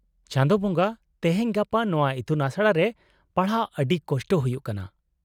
-ᱪᱟᱸᱫᱳ ᱵᱚᱸᱜᱟ ! ᱛᱮᱦᱮᱧ ᱜᱟᱯᱟ ᱱᱚᱶᱟ ᱤᱛᱩᱱᱟᱥᱲᱟ ᱨᱮ ᱯᱟᱲᱦᱟᱜ ᱟᱹᱰᱤ ᱠᱚᱥᱴᱚ ᱦᱩᱭᱩᱜ ᱠᱟᱱᱟ ᱾